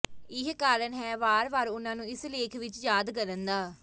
ਇਹ ਕਾਰਣ ਹੈ ਵਾਰ ਵਾਰ ਉਨ੍ਹਾਂ ਨੂੰ ਇਸ ਲੇਖ ਵਿਚ ਯਾਦ ਕਰਨ ਦਾ